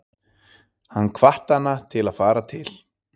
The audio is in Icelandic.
Hann hvatti hana til að fara til